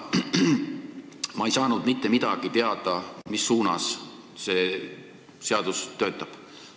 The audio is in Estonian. Ma ei saanud mitte midagi teada selle kohta, mis suunas see seadus töötab.